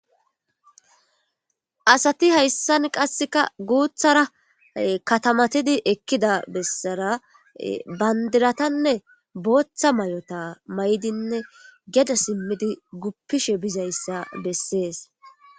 Asati hayssan qasseka guuthara katamatidi ekkida bessara bandiratanne booththa may'ota maydinne geda simmidi guppishe bizayssa bessees.